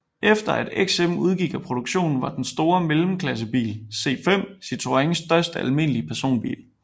Efter at XM udgik af produktion var den store mellemklassebil C5 Citroëns største almindelige personbil